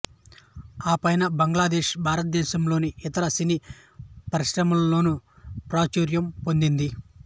ఆపైన బంగ్లాదేశ్ భారతదేశంలోని ఇతర సినీ పరిశ్రమల్లోనూ ప్రాచుర్యం పొందింది